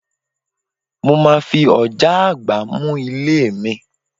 Mo máa fi ọ̀já àgbá mú ilé mi